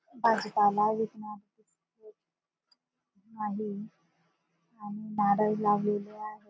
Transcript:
भाजीपाला विकणारे आहे. आणि नारळ लावलेले आहे.